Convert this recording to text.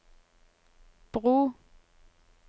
bro